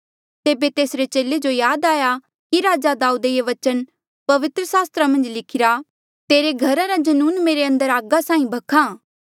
तेबे तेसरे चेले जो याद आया कि राजा दाऊदे ये वचन पवित्र सास्त्रा मन्झ लिखिरा तेरे घरा रा जनून मेरे अंदर आगी साहीं भख्हा